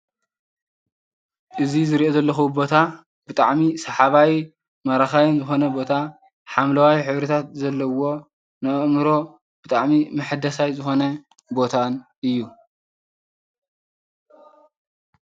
እዚ ዝርእዮ ዘለኩ ቦታ ብጣዕሚ ሰሐባይ፣ ማራኻይ ዝኮነ ቦታ ሓምለዋይ ሕብርታት ዘለዎ ንኣእምሮ ብጣዕሚ መሐደሳይ ዝኮነ ቦታን እዩ።